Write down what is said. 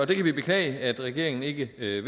det kan vi beklage at regeringen ikke vil